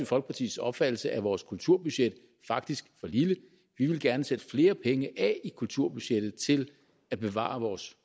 folkepartis opfattelse er vores kulturbudget faktisk for lille vi vil gerne sætte flere penge af i kulturbudgettet til at bevare vores